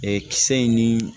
kisɛ in ni